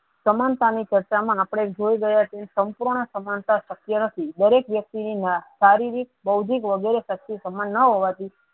સમાનતા ની ત્વચા મા આપળે જોયી રહ્યા છે સમુપૂર્ણ સમાનતા શક્ય નથી દરેક વ્યક્તિ ને શારીરિક બોધિક વગેરે શક્તિ સમાન ના હોવા થી.